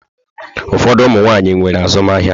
Ụfọdụ ụmụ nwaanyị nwere azụmahịa.